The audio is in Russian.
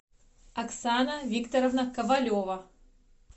оксана викторовна ковалева